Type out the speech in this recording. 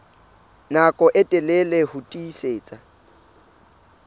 nako e telele ho tiisitse